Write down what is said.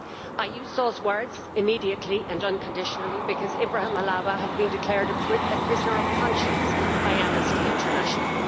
I use those words immediately and unconditionally' because Ibrahim Halawa has been declared a prisoner of conscience by Amnesty International.